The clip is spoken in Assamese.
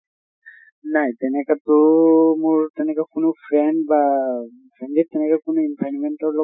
নাই তেনেকা টো মোৰ তেনেকুৱা কোনো friend বা family ত তেনেকে কোনো environment ৰ